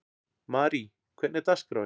Marí, hvernig er dagskráin?